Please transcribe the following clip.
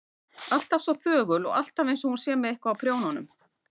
Alltaf svo þögul og alltaf einsog hún sé með eitthvað á prjónunum.